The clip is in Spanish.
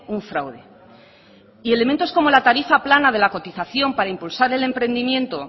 un fraude y elementos como la tarifa plana de la cotización para impulsar el emprendimiento